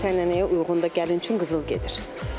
Adət-ənənəyə uyğun da gəlin üçün qızıl gedir.